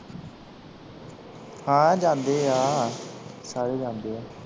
ਹਾਂ ਜਾਂਦੇ ਆ ਸਾਰੇ ਜਾਂਦੇ ਆ।